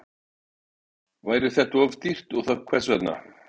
Væri það of dýrt og þá hvers vegna?